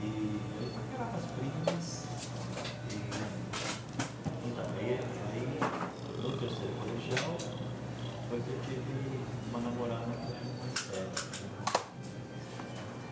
E aí, paquerava as primas e... Então, aí aí, no terceiro colegial, foi que eu tive uma namorada um pouco mais sério, que demorou um pouquinho mais, né?